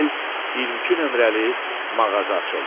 elə bil 22 nömrəli mağaza açıldı.